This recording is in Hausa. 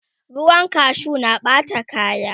ruwan kashu na Ɓata kaya